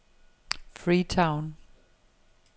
Freetown